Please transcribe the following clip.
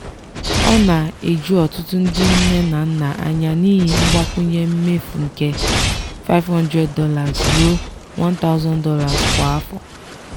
ọ na-eju ọtụtụ ndị nne na nna anya n'ihi mgbakwunye mefu nke $500 ruo $1000 kwa afọ.